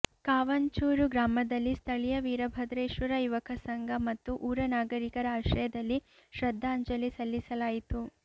ಕಾಂವಚೂರು ಗ್ರಾಮದಲ್ಲಿ ಸ್ಥಳೀಯ ವೀರಭದ್ರೇಶ್ವರ ಯುವಕ ಸಂಘ ಮತ್ತು ಊರ ನಾಗರಿಕರ ಆಶ್ರಯದಲ್ಲಿ ಶ್ರದ್ಧಾಂಜಲಿ ಸಲ್ಲಿಸಲಾಯಿತು